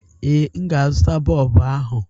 Ee, m ga-azụta bọlbụ ahụ.